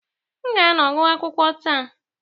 M ga-anọ gụọ akwụkwọ taa.